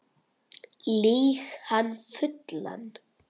Lýg hann fullan